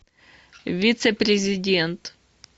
вице президент